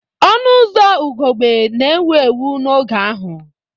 Ọnụ ụzọ ugogbe na-ewu ewu n'oge ahụ.